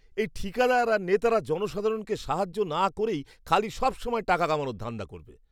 এই ঠিকাদার আর নেতারা জনসাধারণকে সাহায্য না করেই খালি সবসময় টাকা কামানোর ধান্দা করবে!